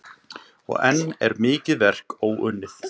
Og enn er mikið verk óunnið.